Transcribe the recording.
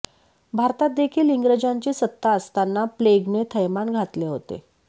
भारतात देखील इंग्रजांची सत्ता असताना प्लेगने थैमान घातले होते